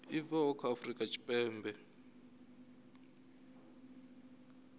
i bvaho kha south african